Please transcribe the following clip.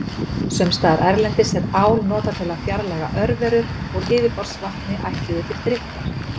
Sums staðar erlendis er ál notað til að fjarlægja örverur úr yfirborðsvatni ætluðu til drykkjar.